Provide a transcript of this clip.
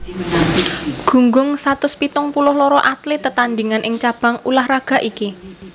Gunggung satus pitung puluh loro atlet tetandhingan ing cabang ulah raga iki